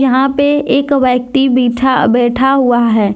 यहां पे एक व्यक्ति बिठा बैठा हुआ है।